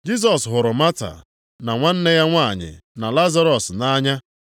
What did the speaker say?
Jisọs hụrụ Mata, na nwanne ya nwanyị na Lazarọs nʼanya.